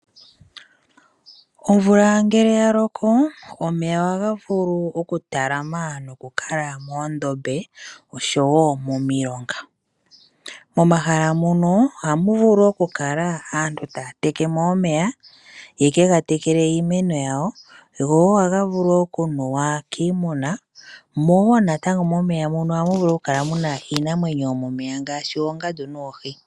Omvula ngele ya loko omeya ohaga vulu okutalama nokukala moondombe oshowo momilonga .Momahala mono ohamu vulu okukala aantu taa teke mo omeya yeke ga tekele iimeno yawo go woo ohaga vulu okunuwa kiimuna mo natango momeya muno ohamu vulu oku kala muna iinamwenyo yomomeya ngaashi oongandu noohi.